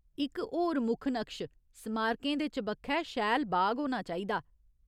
इक होर मुक्ख नकश स्मारकें दे चबक्खै शैल बाग होना चाहिदा।